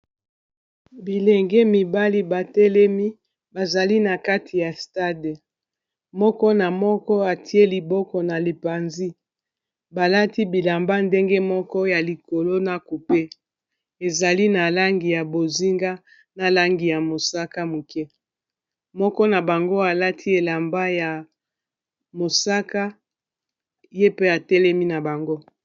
Bilenge mibali batelemi bazali na kati ya stade moko na moko atiye liboko na libanzi balati bilamba ndenge Moko na likolo na coupe ezali na langi ya bozinga na mosaka mukie moko na bango alati elamba ya mosaka ye pe atelemi na bango